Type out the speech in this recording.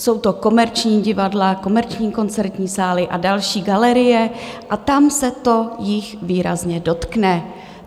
Jsou to komerční divadla, komerční koncertní sály a další galerie a tam se jich to výrazně dotkne.